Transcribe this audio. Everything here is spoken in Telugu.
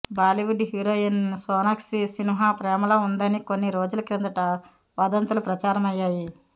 బాలీవుడ్ హీరోయిన్ సోనాక్షి సిన్హా ప్రేమలో ఉందని కొన్ని రోజుల కిందట వదంతులు ప్రచారమయ్యాయి